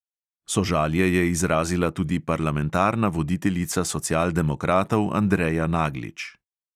Sožalje je izrazila tudi parlamentarna voditeljica socialdemokratov andreja naglič.